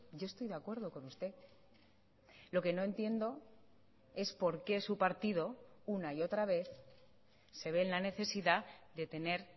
yo estoy de acuerdo con usted lo que no entiendo es porque su partido una y otra vez se ve en la necesidadde tener